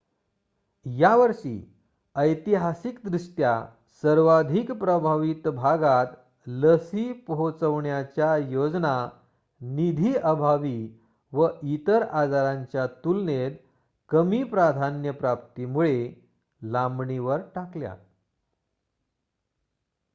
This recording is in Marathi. यावर्षी ऐतिहासिकदृष्ट्या सर्वाधिक प्रभावित भागात लसी पोहोचवण्याच्या योजना निधीअभावी व इतर आजारांच्या तुलनेत कमी प्राधान्य प्राप्तीमुळे लांबणीवर टाकल्या